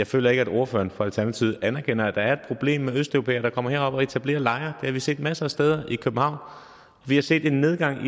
føler at ordføreren fra alternativet anerkender at der er et problem med østeuropæere der kommer herop og etablerer lejre det har vi set masser af steder i københavn vi har set en nedgang